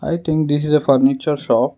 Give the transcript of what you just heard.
i think this is a furniture shop.